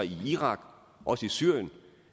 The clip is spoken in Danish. i irak og i syrien